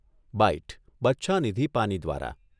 byte, Bachhanidhi Pani દ્વારા